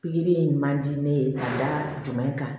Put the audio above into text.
Pikiri in man di ne ye ka da jumɛn kan